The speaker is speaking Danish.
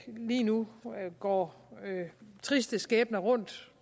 lige nu går triste skæbner rundt